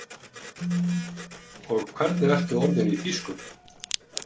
Og hvernig ertu orðinn í þýsku?